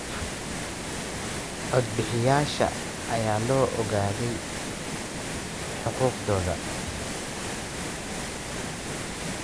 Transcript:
Cod-bixiyayaasha ayaa la ogaaday xuquuqdooda.